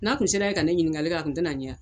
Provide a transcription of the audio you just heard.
N'a tun sera yen ka ne ɲininkali ka a kun tɛna n ye